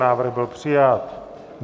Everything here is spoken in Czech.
Návrh byl přijat.